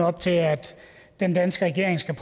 op til at den danske regering skal